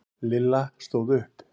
Lilla stóð upp.